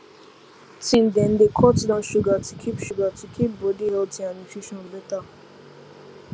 teen dem dey cut down sugar to keep sugar to keep body healthy and nutrition better